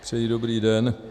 Přeji dobrý den.